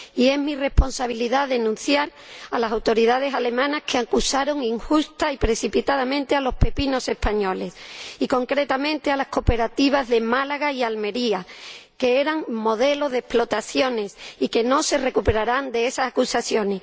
Es mi responsabilidad denunciar a las autoridades alemanas que acusaron injusta y precipitadamente a los pepinos españoles y, concretamente, a las cooperativas de Málaga y de Almería, que eran modelo de explotaciones y que no se recuperarán de esas acusaciones.